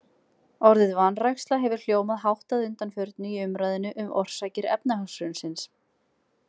Orðið vanræksla hefur hljómað hátt að undanförnu í umræðunni um orsakir efnahagshrunsins.